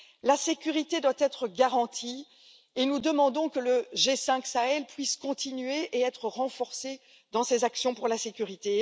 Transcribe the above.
La sécurité doit être garantie et nous demandons que le G5 Sahel puisse continuer et être renforcé dans ses actions pour la sécurité.